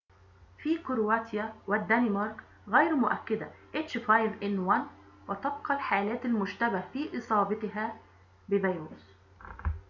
وتبقى الحالات المشتبه في إصابتها بفيروس h5n1 في كرواتيا والدنمارك غير مؤكدة